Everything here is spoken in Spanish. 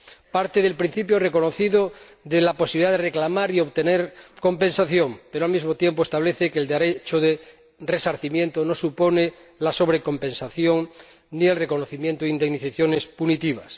Parte del principio reconocido de la posibilidad de reclamar y obtener compensación, pero, al mismo tiempo, establece que el derecho de resarcimiento no supone la sobrecompensación ni el reconocimiento de indemnizaciones punitivas.